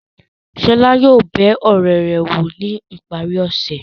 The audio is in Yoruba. Ṣọlá yóò bẹ ọ̀rẹ́ rẹ̀ wò ní ìparí ọ̀sẹ̀.